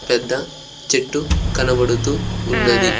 పెద్ద చెట్టు కనబడుతూ ఉన్నది.